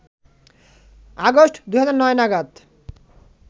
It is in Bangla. আগস্ট ২০০৯ নাগাদ